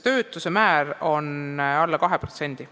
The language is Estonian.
Töötuse määr on alla 2%.